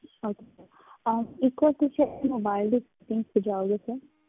Okay sir ਅਹ ਇੱਕ ਹੋਰ ਜਾਓਗੇ sir